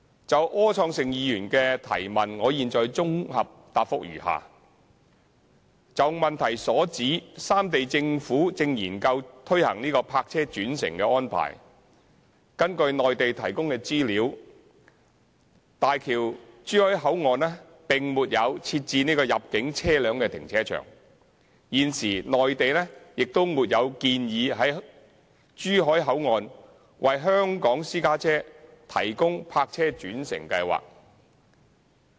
就柯創盛議員的主體質詢，我現綜合答覆如下：就主體質詢所指，三地政府正研究推行泊車轉乘的安排，根據內地提供的資料，大橋珠海口岸並沒有設置入境車輛停車場，現時內地亦沒有建議在珠海口岸為香港私家車提供泊車轉乘計劃。